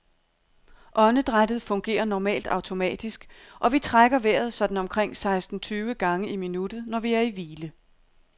Åndedrættet fungerer normalt automatisk, og vi trækker vejret sådan omkring seksten tyve gange i minuttet, når vi er i hvile.